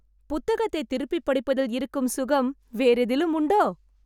புத்தகத்தை திருப்பி படிப்பதில் இருக்கும் சுகம் வேறெதிலும் உண்டோ?